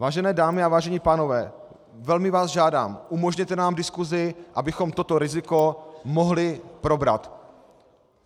Vážené dámy a vážení pánové, velmi vás žádám, umožněte nám diskusi, abychom toto riziko mohli probrat.